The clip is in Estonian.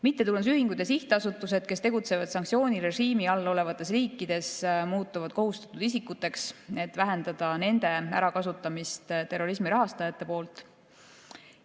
Mittetulundusühingud ja sihtasutused, kes tegutsevad sanktsioonirežiimi all olevates riikides, muutuvad kohustatud isikuteks, et vähendada nende ärakasutamist terrorismi rahastajate poolt.